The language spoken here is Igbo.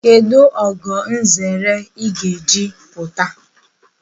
Kedụ ogo nzere ị ga-eji apụta?